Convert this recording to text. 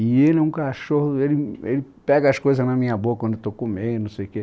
E ele é um cachorro, ele ele pega as coisas na minha boca quando eu estou comendo, não sei o quê.